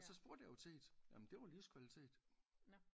Og spurgte jeg jo til det jamen det var livskvalitet